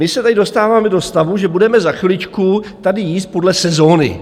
My se tady dostáváme do stavu, že budeme za chviličku tady jíst podle sezóny.